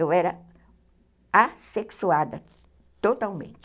Eu era assexuada, totalmente.